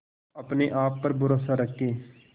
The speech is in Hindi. अपने आप पर भरोसा रखें